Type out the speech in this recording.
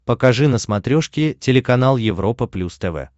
покажи на смотрешке телеканал европа плюс тв